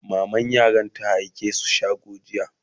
maman yaran ta aike su shago jiya